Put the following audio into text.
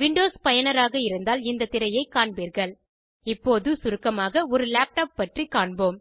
Windows பயனராக இருந்தால் இந்த திரையைக் காண்பீர்கள் இப்போது சுருக்கமாக ஒரு லேப்டாப் பற்றி காண்போம்